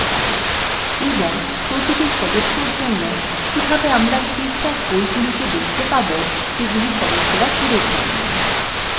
এবং প্রতিটি সদস্যর জন্য কিভাবে আমরা সেইসব বইগুলিকে দেখতে পাবো যেগুলি সদস্যরা ফেরত দেননি